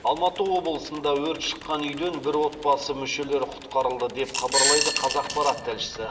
алматы облысында өрт шыққан үйден бір отбасы мүшелері құтқарылды деп хабарлайды қазақпарат тілшісі